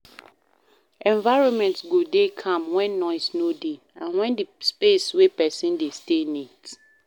Environment go dey calm when noise no dey and when di space wey person dey stay neat